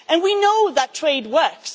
We know that trade works.